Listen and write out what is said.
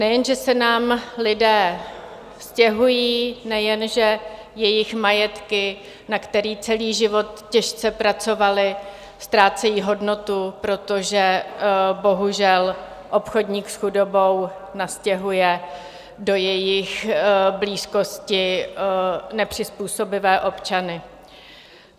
Nejen že se nám lidé stěhují, nejen že jejich majetky, na které celý život těžce pracovali, ztrácejí hodnotu, protože bohužel obchodník s chudobou nastěhuje do jejich blízkosti nepřizpůsobivé občany.